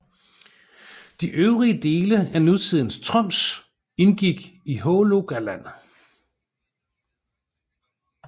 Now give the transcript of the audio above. De øvrige dele af nutidens Troms indgik i Hålogaland